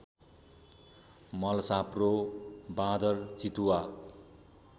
मलसाँप्रो बाँदर चितुवा